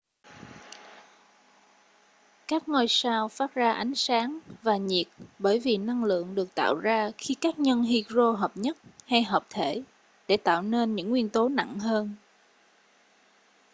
các ngôi sao phát ra ánh sáng và nhiệt bởi vì năng lượng được tạo ra khi các nhân hydro hợp nhất hay hợp thể để tạo nên những nguyên tố nặng hơn